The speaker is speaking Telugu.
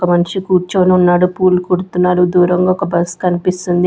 ఒక మనిషి కూర్చొని ఉన్నాడు పూలు కుడుతున్నారు దూరంగా ఒక బస్ కనిపిస్తుం--